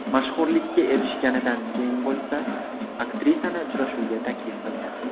Mashhurlikka erishganidan keyin bo‘lsa, aktrisani uchrashuvga taklif qilgan.